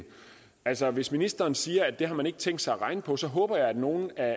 altså hvis ministeren siger at det har man ikke tænkt sig at regne på så håber jeg at nogle af